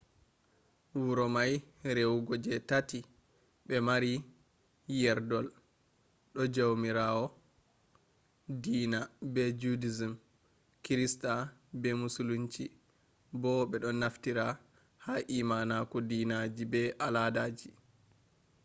wuro mai rewugo je tati be maari yerdol do jawmirawo dina be-judaism, kirista be musulinci bo be naftira ha imanaku dinaji be aladaji